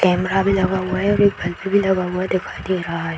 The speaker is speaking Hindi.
कैमरा भी लगा हुआ है और एक बल्ब भी लगा हुआ दिखाई दे रहा है।